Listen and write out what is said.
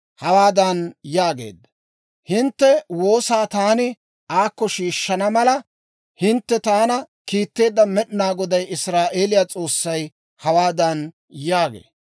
hawaadan yaageedda; «Hintte woosaa taani aakko shiishshana mala, hintte taana kiitteedda Med'inaa Goday Israa'eeliyaa S'oossay hawaadan yaagee;